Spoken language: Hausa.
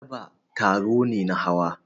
Daba taro ne na hawa.